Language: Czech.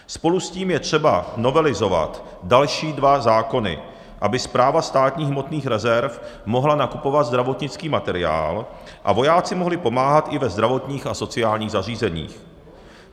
Spolu s tím je třeba novelizovat další dva zákony, aby Správa státních hmotných rezerv mohla nakupovat zdravotnický materiál a vojáci mohli pomáhat i ve zdravotních a sociálních zařízeních.